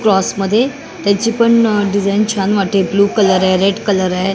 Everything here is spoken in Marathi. क्रॉस मध्ये त्याची पण डिझाईन छान वाटते ब्ल्यू कलर आहे रेड कलर आहे.